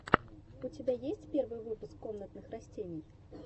у тебя есть первый выпуск комнатных растений